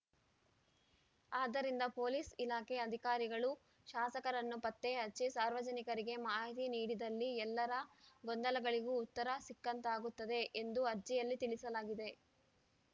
ಆದ್ದರಿಂದ ಪೊಲೀಸ್‌ ಇಲಾಖೆ ಅಧಿಕಾರಿಗಳು ಶಾಸಕರನ್ನು ಪತ್ತೆ ಹಚ್ಚಿ ಸಾರ್ವಜನಿಕರಿಗೆ ಮಾಹಿತಿ ನೀಡಿದಲ್ಲಿ ಎಲ್ಲ ಗೊಂದಲಗಳಿಗೂ ಉತ್ತರ ಸಿಕ್ಕಂತಾಗುತ್ತದೆ ಎಂದು ಅರ್ಜಿಯಲ್ಲಿ ತಿಳಿಸಲಾಗಿದೆ